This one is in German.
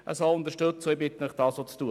Ich bitte Sie, das auch zu tun.